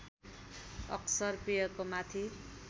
अक्सर पेयको माथि